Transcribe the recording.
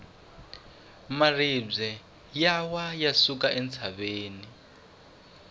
maribye ya wa ya suka entshaveni